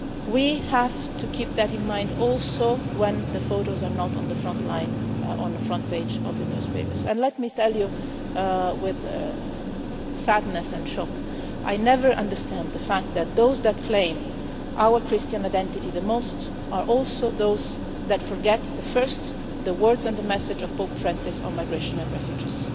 We have to keep that in mind also when the photos are not on the front line, on the front page of the newspapers, and let me tell you with sadness and shock, I never understand the fact that those that claim our Christian identity the most are also those who are the first to forget the word and the message of Pope Francis on migration and refugees.